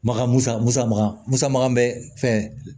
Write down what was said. Maka musa musaka musaka bɛ fɛn